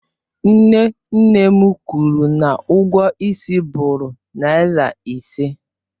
Nne nne m kwụrụ na ụgwọ ịsị bụụrụ naira ise.